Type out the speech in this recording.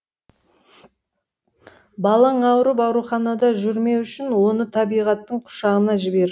балаң ауырып ауруханада жүрмеу үшін оны табиғаттың құшағына жібер